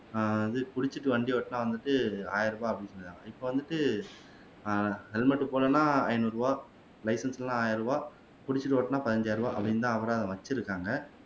ஆஹ் அது குடிச்சீட்டு வண்டி ஓட்டினா வந்துட்டு ஆயிரம் ரூபாய் அப்படின்னு சொன்னாங்க இப்போ வந்துட்டு இப்ப வந்துட்டு ஆஹ் குடிச்சுட்டு ஓட்டினா பதினைந்தாயிரம் ரூபாய் அப்படின்னு அபராதம் வச்சிருக்காங்க